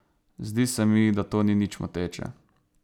Zdi se mi, da to ni nič moteče.